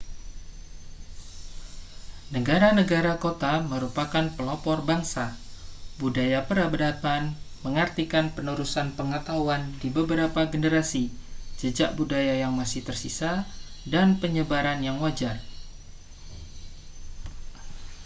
negara-negara kota merupakan pelopor bangsa budaya peradaban mengartikan penerusan pengetahuan di beberapa generasi jejak budaya yang masih tersisa dan penyebaran yang wajar